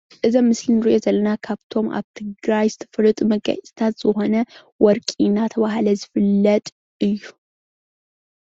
እዚ ኣብ ምስሊ እንሪኦ ዘለና ካብቶም ኣብ ትግራይ ዝተፈለጡ መጋየፅታት ዝኮነ ወርቂ እንዳተባሃለ ዝፍለጥ እዩ፡፡